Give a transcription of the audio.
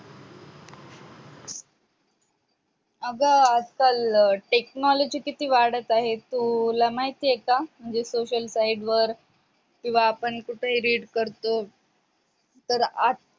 आग आजकाल technology किती वाढत आहे तुला माहितेय का म्हणजे social side work किंवा आपण कसही read करतो तर आज